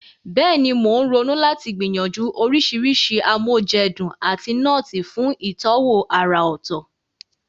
Bẹ́ẹ̀ni, mò ń ronú láti gbìyànjú oríṣiríṣi amoúnjedun àti nọ́ọ̀tì fún ìtọ́wò àrà ọ̀tọ̀.